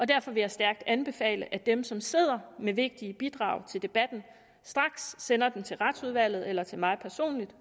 derfor vil jeg stærkt anbefale at dem som sidder med vigtige bidrag til debatten straks sender dem til retsudvalget eller til mig personligt